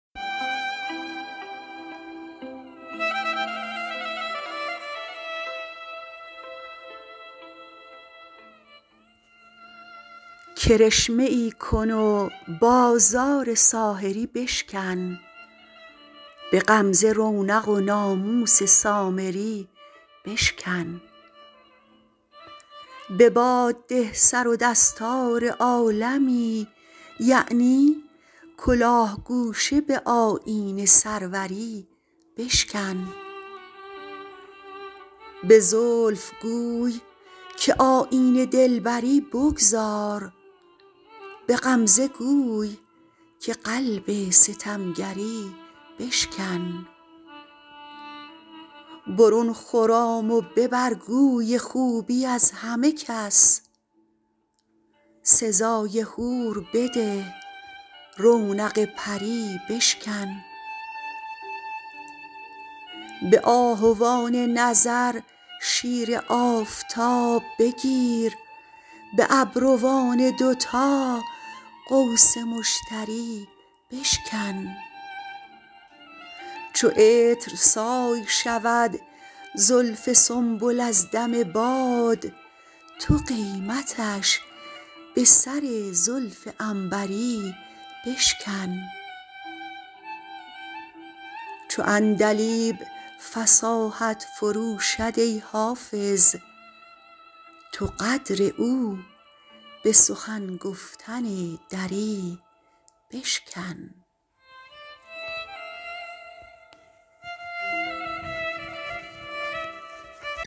کرشمه ای کن و بازار ساحری بشکن به غمزه رونق و ناموس سامری بشکن به باد ده سر و دستار عالمی یعنی کلاه گوشه به آیین سروری بشکن به زلف گوی که آیین دلبری بگذار به غمزه گوی که قلب ستمگری بشکن برون خرام و ببر گوی خوبی از همه کس سزای حور بده رونق پری بشکن به آهوان نظر شیر آفتاب بگیر به ابروان دوتا قوس مشتری بشکن چو عطرسای شود زلف سنبل از دم باد تو قیمتش به سر زلف عنبری بشکن چو عندلیب فصاحت فروشد ای حافظ تو قدر او به سخن گفتن دری بشکن